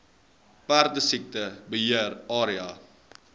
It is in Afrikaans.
perdesiekte beheer area